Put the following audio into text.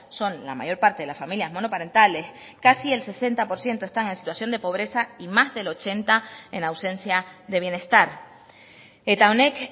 son la mayor parte de las familias monoparentales casi el sesenta por ciento están en situación de pobreza y más del ochenta en ausencia de bienestar eta honek